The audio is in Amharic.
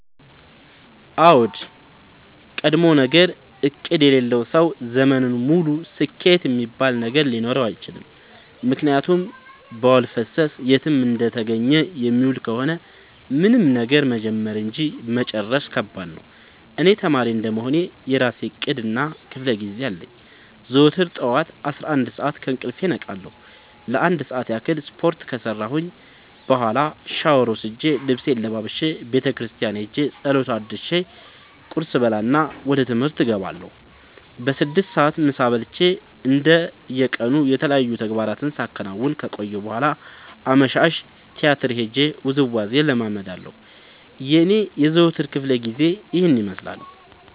አዎድ ቀድሞነገር እቅድ የሌለው ሰው ዘመኑን ሙሉ ስኬት እሚባል ነገር ሊኖረው አይችልም። ምክንያቱም በዋልፈሰስ የትም እንደተገኘ የሚውል ከሆነ ምንም ነገር መጀመር እንጂ መጨረስ ከባድ ነው። እኔ ተማሪ እንደመሆኔ የእራሴ እቅድ እና ክፋለጊዜ አለኝ። ዘወትር ጠዋት አስራአንድ ሰዓት ከእንቅልፌ እነቃለሁ ለአንድ ሰዓት ያክል ስፓርት ከሰራሁኝ በኋላ ሻውር ወስጄ ልብሴን ለባብሼ ቤተክርስቲያን ኸጄ ፀሎት አድርሼ ቁርስ እበላና ወደ ትምህርት እገባለሁ። በስድስት ሰዓት ምሳ በልቼ እንደ የቀኑ የተለያዩ ተግባራትን ሳከናውን ከቆየሁ በኋላ አመሻሽ ቲያትር ሄጄ ውዝዋዜ እለምዳለሁ የኔ የዘወትር ክፍለጊዜ ይኸን ይመስላል።